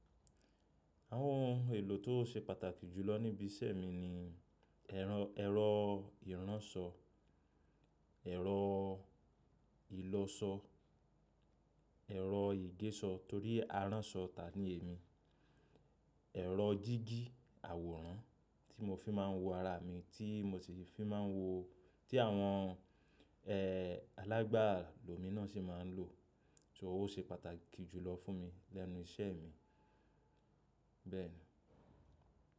Àwọn ohun èlò tó se pàtàkì jùlọ níbi iṣẹ́ mi ni ẹ̀rọ, ẹ̀rọ ìránṣọ, ẹ̀rọ ìlọṣọ, ẹ̀rọ ìgéṣọ torí a ránṣọ ta ni èmi, ẹ̀rọ jígi àwòrán tí mo fi máa ń wo ara mi, tí mo ti fi máa ń wo-- tí àwọn, ẹ́ẹ́, alágbà lomi náà ṣi máa ń lò. Tí ó se pàtàkì jùlọ fún mi lẹ́nu iṣẹ́ mi. Bẹ́ẹ̀ ni.